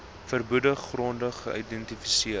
verbode gronde geïdentifiseer